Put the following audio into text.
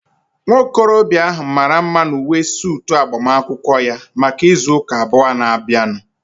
Nwa okorobịa ahu mara mma n'uwe suutu agbamakwụkwọ ya maka ịzụ ụka abụọ na-abịanụ